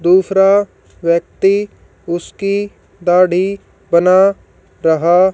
दूसरा व्यक्ति उसकी दाढ़ी बना रहा--